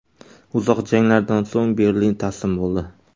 Uzoq janglardan so‘ng Berlin taslim bo‘ldi.